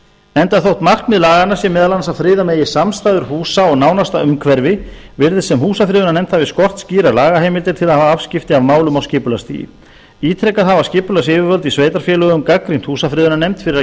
enda þótt markmið laganna sé meðal annars að friða megi samstæður húsa og nánasta umhverfi virðist sem húsafriðunarnefnd hafi skort skýrar lagaheimildir til að hafa afskipti af málum á skipulagsstigi ítrekað hafa skipulagsyfirvöld í sveitarfélögum gagnrýnt húsafriðunarnefnd fyrir